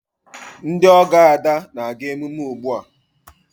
Ndị ọgọ Ada na-aga emume ugbu a.